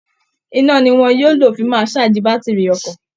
Iná ni wọn yóò fi máa ṣáàjì bátìrì ọkọ̀